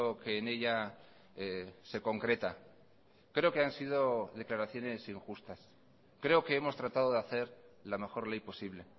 que en ella se concreta creo que han sido declaraciones injustas creo que hemos tratado de hacer la mejor ley posible